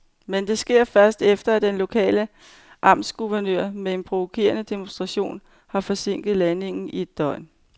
Men det sker først, efter at den lokale amtsguvernør med en provokerende demonstration har forsinket landingen i et døgn.